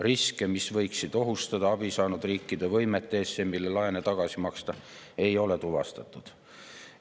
Riske, mis võiksid ohustada abi saanud riikide võimet ESM‑ile laene tagasi maksta, ei ole tuvastatud.